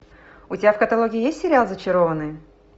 у тебя в каталоге есть сериал зачарованные